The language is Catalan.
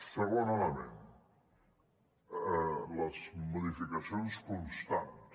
segon element les modificacions constants